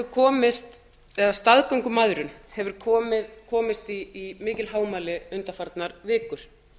og ellefu staðgöngumæðrun hefur komist í mikil hámæli undanfarnar vikur